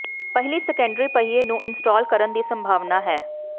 ਪਹਿਲੀ ਸੈਕੰਡਰੀ ਪਹੀਏ ਨੂੰ ਇੰਸਟਾਲ ਕਰਨ ਦੀ ਸੰਭਾਵਨਾ ਹੈ